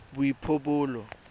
boipobolo